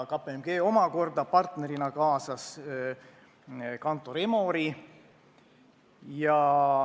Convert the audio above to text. KPMG kaasas partnerina ka Kantor Emori.